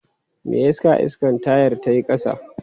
Me yasa iskan tayar ta yi ƙasa?